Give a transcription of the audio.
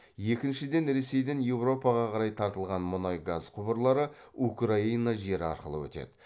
екіншіден ресейден еуропаға қарай тартылған мұнай газ құбырлары украина жері арқылы өтеді